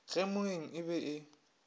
ge moeng e be e